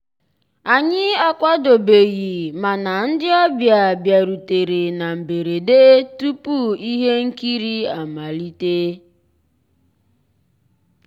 ànyị́ àkwàdóbéghí màná ndị́ ọ̀bịá bìàrùtérè ná mbérèdé túpú íhé nkírí àmàlíté.